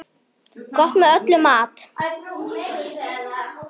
Gott með öllum mat.